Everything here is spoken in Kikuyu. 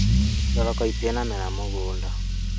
Thoroko ĩtĩ na mera mũgũnda